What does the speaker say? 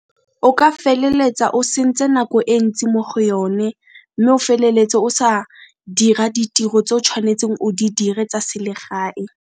O ka feleletsa o sentse nako e ntsi mo go yone, mme o feleletse o sa dira ditiro tse o tshwanetseng o di dire tsa selegae.